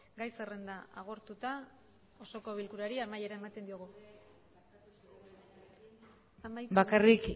gai zerrenda agortuta osoko bilkurari amaiera ematen diogu bakarrik